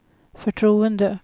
förtroende